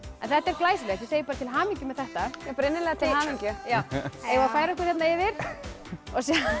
þetta er glæsilegt til hamingju með þetta innilega til hamingju eigum við að færa okkur hérna yfir og sjá